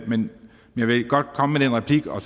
men jeg vil godt komme med den replik og